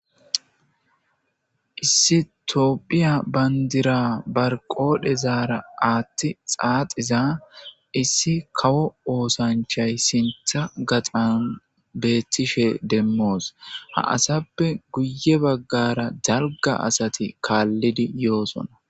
Issi toophiya bandira barqodhe zaara aathti xaaxiza issi kawo oosanchay sintha gaxan beettishe demmoos ha asappe guye baggara jalga asati kaallidi yoosona.